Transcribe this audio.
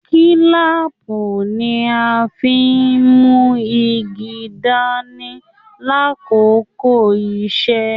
Kílàápú ní a fí n mú igi dání l'akoko iṣẹ.